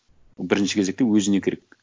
бірінші кезекте өзіне керек